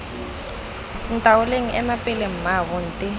ntaoleng ema pele mmaabo nte